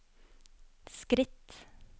skritt